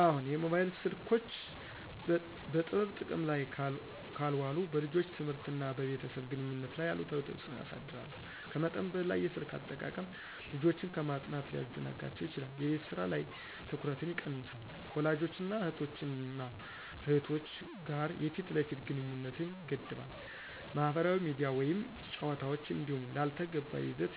አዎን, የሞባይል ስልኮች በጥበብ ጥቅም ላይ ካልዋሉ በልጆች ትምህርት እና በቤተሰብ ግንኙነት ላይ አሉታዊ ተጽእኖ ያሳድራሉ. ከመጠን በላይ የስልክ አጠቃቀም ልጆችን ከማጥናት ሊያዘናጋቸው ይችላል፣ የቤት ስራ ላይ ትኩረትን ይቀንሳል፣ እና ከወላጆች እና እህቶች እና እህቶች ጋር የፊት ለፊት ግንኙነትን ይገድባል። ማህበራዊ ሚዲያ ወይም ጨዋታዎች እንዲሁ ላልተገባ ይዘት